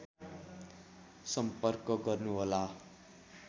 सम्पर्क गर्नुहोला